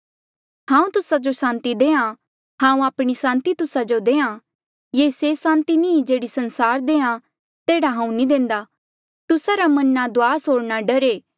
हांऊँ तुस्सा जो सांति देहां हांऊँ आपणी सांति तुस्सा जो देहां ये से सांति नी जेह्ड़ी संसार देहां तेह्ड़ा हांऊँ नी देंदा तुस्सा रा मन ना दुआस होर ना डरे